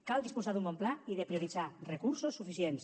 cal disposar d’un bon pla i prioritzar recursos suficients